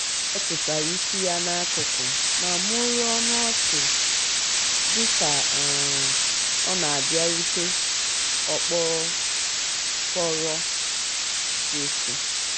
ọ tụsara isi ya n'akụkụ ma mumuo ọnụ um ọchị dịka um ọ na-abịarute okpokoro um kefụ